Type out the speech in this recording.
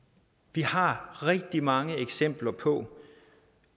vi har rigtig mange eksempler på